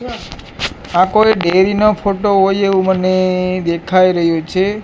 આ કોઇ ડેરી નો ફોટા હોય એવુ મને દેખાય રહ્યું છે.